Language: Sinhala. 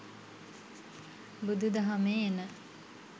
බුදු දහමේ එන